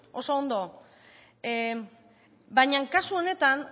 oso ondo bina kasu honetan